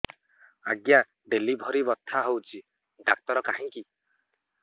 ଆଜ୍ଞା ଡେଲିଭରି ବଥା ହଉଚି ଡାକ୍ତର କାହିଁ କି